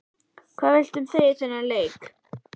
Hvað viltu segja um þennan leik?